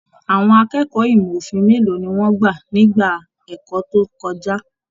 Àwọn akẹ́kọ̀ọ́ ìmọ òfin mélòó ní wọn gbà nígbà ẹ̀kọ́ tó kọjá?